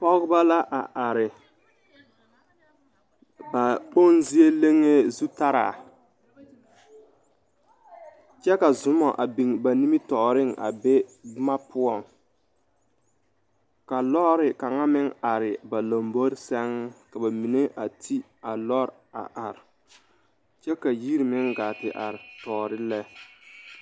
Pɔgeba la a are ba kpoŋ zie leŋee zutaraa kyɛ ka zoma a biŋ ba nimitɔɔreŋ a be boma poɔŋ ka lɔɔre kaŋa meŋ are ba lambori seŋ ka ba mine a ti a lɔre are kyɛ ka yiri meŋ gaa te are tɔɔre lɛ.